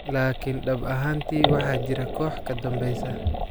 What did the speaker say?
Laakiin dhab ahaantii waxaa jira koox ka dambeysa.